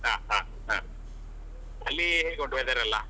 ಹ ಹ ಹ ಅಲ್ಲಿ ಹೇಗೆ ಉಂಟು weather ಎಲ್ಲಾ?